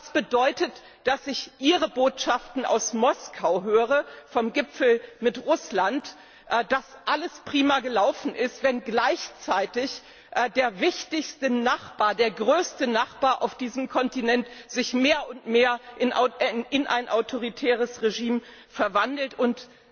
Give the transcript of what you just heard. Was bedeutet, wenn ich Ihre Botschaften aus Moskau höre vom Gipfel mit Russland, dass alles prima gelaufen ist, und gleichzeitig der wichtigste Nachbar, der größere Nachbar auf diesem Kontinent sich mehr und mehr in ein autoritäres Regime verwandelt und